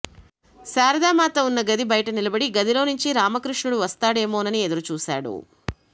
శారదామాత ఉన్న గది బయట నిలబడి గదిలో నుంచి రామకృష్ణుడు వస్తాడేమోనని ఎదురు చూశాడు